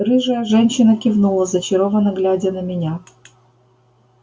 рыжая женщина кивнула зачарованно глядя на меня